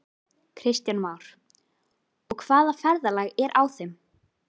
Kristján Már: Og hvaða ferðalag er á þeim?